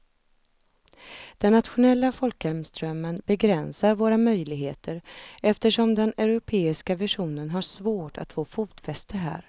Den nationella folkhemsdrömmen begränsar våra möjligheter eftersom den europeiska visionen har svårt att få fotfäste här.